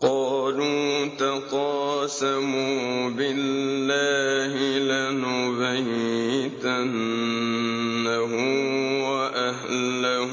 قَالُوا تَقَاسَمُوا بِاللَّهِ لَنُبَيِّتَنَّهُ وَأَهْلَهُ